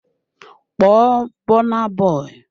Call Burna Boy!